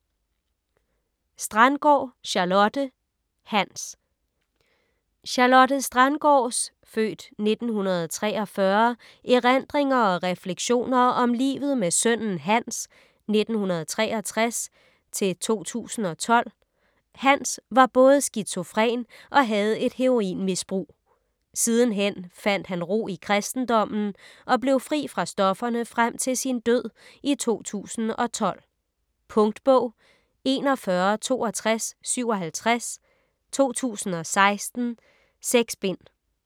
Strandgaard, Charlotte: Hans Charlotte Strandgaards (f. 1943) erindringer og refleksioner om livet med sønnen Hans (1963-2012). Hans var både skizofren og havde et heroinmisbrug. Sidenhen fandt han ro i kristendommen og blev fri fra stofferne frem til sin død i 2012. Punktbog 416257 2016. 6 bind.